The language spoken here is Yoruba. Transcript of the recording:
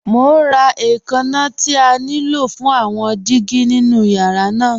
Mọ̀ n rá ẹ̀kànna tí à ní ló fún àwọn dígí nínu yàrá náà.